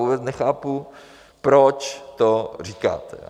Vůbec nechápu, proč to říkáte.